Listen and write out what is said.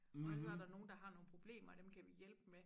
Og så der nogen der har nogen problemer og dem kan vi hjælpe med